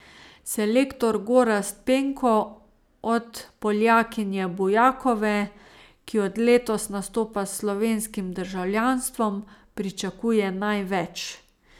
Selektor Gorazd Penko od Poljakinje Bujakove, ki od letos nastopa s slovenskim državljanstvom, pričakuje največ.